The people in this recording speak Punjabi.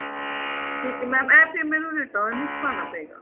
ਠੀਕ ਹੈ mam ਇਹ ਫ਼ੇਰ ਮੈਨੂੰ return ਵਿੱਚ ਪਾਉਣਾ ਪਵੇਗਾ